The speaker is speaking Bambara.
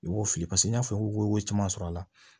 I b'o fili pase n y'a fɔ ko caman sɔrɔ a la